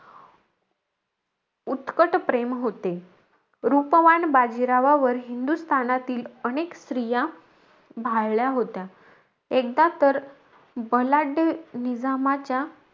उत्कट प्रेम होते. रुपवान बाजीरावावर हिंदुस्थानातील अनेक स्त्रिया भाळल्या होत्या. एकदा तर बलाढ्य निजामाच्या,